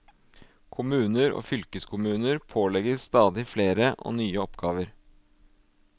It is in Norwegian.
Kommuner og fylkeskommuner pålegges stadig flere og nye oppgaver.